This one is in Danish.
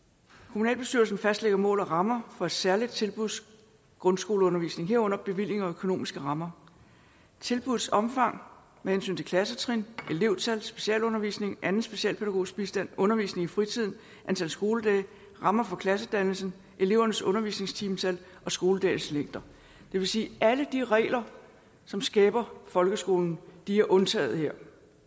kommunalbestyrelsen fastlægger mål og rammer for det særlige tilbuds grundskoleundervisning herunder bevillinger og økonomiske rammer tilbuddets omfang med hensyn til klassetrin elevtal specialundervisning og anden specialpædagogisk bistand undervisning i fritiden antal skoledage og rammer for klassedannelsen elevernes undervisningstimetal og skoledagens længde det vil sige at alle de regler som skaber folkeskolen er undtaget her